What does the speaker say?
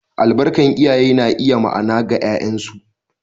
Albarkar iyaye na iya ma’ana ga ’ya’yansu.